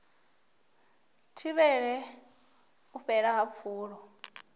thivhele u fhela ha pfulo